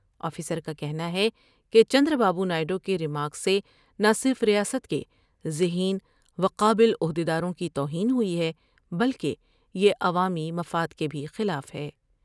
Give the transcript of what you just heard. Officer کا کہنا ہے کہ چندرابابو نائیڈو کے ریمارکس سے نہ صرف ریاست کے ذہین وقابل عہد یداروں کی توہین ہوئی ہے بلکہ یہ عوامی مفاد کے بھی خلاف ہے۔